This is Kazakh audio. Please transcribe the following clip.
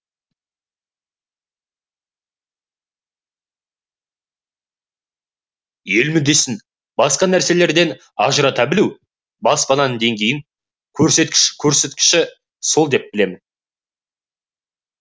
ел мүддесін басқа нәрселерден ажырата білу баспаның деңгейінің көрсеткіші сол деп білемін